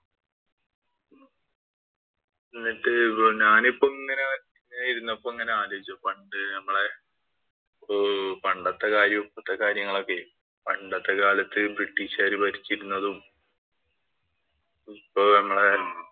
ഇന്ന് ഞാനിപ്പം ഇങ്ങനെ ഇരുന്നപ്പം ആലോചിച്ചു പണ്ട് നമ്മടെ ഉം പണ്ടത്തെ കാര്യവും, ഇപ്പോഴത്തെ കാര്യങ്ങളൊക്കെ. പണ്ടത്തെ കാലത്ത് ബ്രിട്ടീഷുകാര് ഭരിച്ചിരുന്നതും ഇപ്പൊ നമ്മടെ